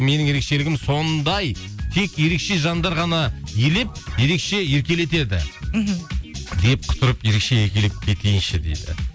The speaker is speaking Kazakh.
менің ерекшелігім сондай тек ерекше жандар ғана елеп ерекше еркелетеді мхм деп құтырып ерекше еркелеп кетейінші дейді